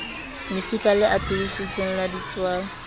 lesika le atolositsweng la ditswala